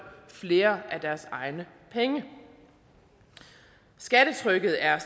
flere af deres egne penge skattetrykket er